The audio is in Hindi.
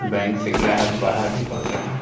बैंक से ग्राहक बाहर निकल रहे हैं ।